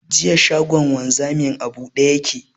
Jiya, shagon wanzamin a buɗe ya ke.